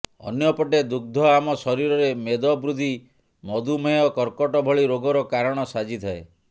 ଅନ୍ୟପଟେ ଦୁଗ୍ଧ ଆମ ଶରୀରରେ ମେଦବୃଦ୍ଧି ମଧୁମେୟ କର୍କଟ ଭଳି ରୋଗର କାରଣ ସାଜିଥାଏ